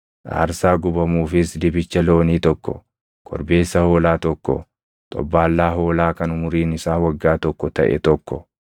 aarsaa gubamuufis dibicha loonii tokko, korbeessa hoolaa tokko, xobbaallaa hoolaa kan umuriin isaa waggaa tokko taʼe tokko,